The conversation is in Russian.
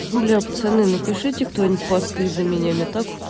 пацаны напишите кто-нибудь посты за меня мне так